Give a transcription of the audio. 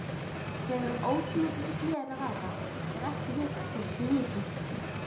Þegar um ótímabundið hlé er að ræða er ekki vitað hvenær því lýkur.